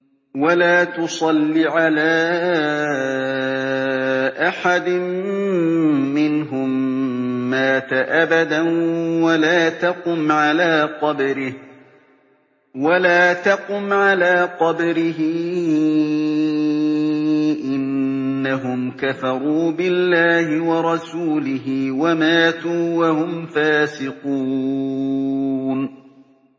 وَلَا تُصَلِّ عَلَىٰ أَحَدٍ مِّنْهُم مَّاتَ أَبَدًا وَلَا تَقُمْ عَلَىٰ قَبْرِهِ ۖ إِنَّهُمْ كَفَرُوا بِاللَّهِ وَرَسُولِهِ وَمَاتُوا وَهُمْ فَاسِقُونَ